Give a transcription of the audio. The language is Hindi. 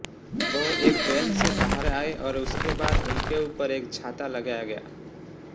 वह एक वैन से बाहर आए और उसके बाद उनके ऊपर एक छाता लगाया गया